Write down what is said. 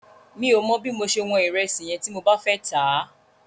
Mi ò mọ bí mo ṣe wọn ìrẹsì yẹn tí mo bá fẹ́ tà á.